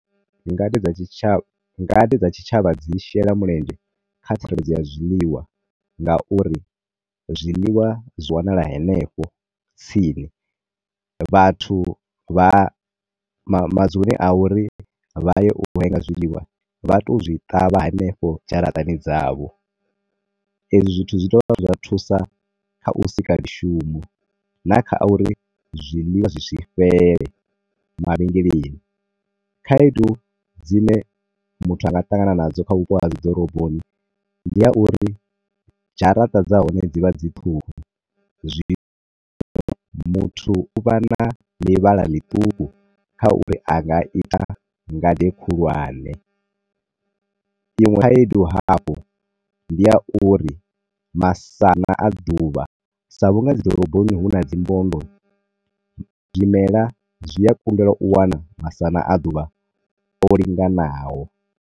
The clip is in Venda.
Ngade dza tshitsha. Ngade dza tshitshavha dzi shela mulenzhe kha tsireledzo ya zwiḽiwa nga uri zwiḽiwa zwi wanala hanefho tsini, vhathu vha ma madzuloni a uri vhaye urenga zwiḽiwa vha to zwi ṱavha hanefho dzharaṱani dza vho. E zwi zwithu zwi zwa thusa kha u sika mishumo, na kha uri zwiḽiwa zwi si fhele mavhengeleni. Khaedu dzine muthu anga ṱangana nadzo kha vhupo ha dzi ḓoroboni ndi ha uri dzharaṱa dza hone dzivha dzi ṱhukhu. Zwino, muthu u vha na ḽivhala ḽituku kha uri anga ita ngade khulwane. Inwe khaedu hafhu ndi ya uri masana a ḓuvha, sa vhunga ḓoroboni huna dzi mbondo, zwimelwa zwi a kundelwa u wana masana a ḓuvha o linganaho.